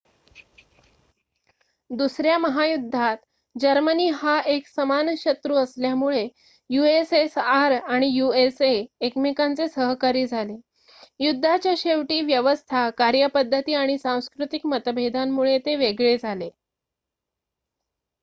दुसऱ्या महायुद्धात जर्मनी हा एक समान शत्रू असल्यामुळे यूएसएसआर आणि यूएसए एकमेकांचे सहकारी झाले युद्धाच्या शेवटी व्यवस्था कार्यपद्धती आणि सांस्कृतिक मतभेदांमुळे ते वेगळे झाले